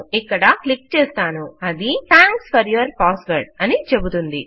ఇక్కడ క్లిక్ చేస్తాను అది థాంక్స్ ఫోర్ యూర్ passwordఅని చెబుతుంది